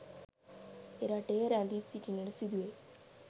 එරටේ රැඳී සිටින්නට සිදුවෙයි